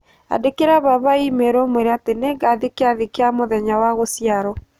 Andĩkĩra baba i-mīrū ũmũĩre atĩ nĩngathĩĩ kĩathĩ kia mũthenya wa gũciarũo